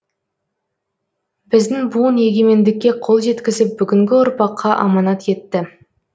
біздің буын егемендікке қол жеткізіп бүгінгі ұрпаққа аманат етті